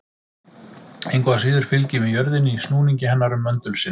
Engu að síður fylgjum við jörðinni í snúningi hennar um möndul sinn.